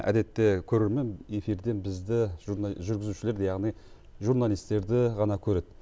әдетте көрермен эфирден бізді жүргізушілерді яғни журналистерді ғана көреді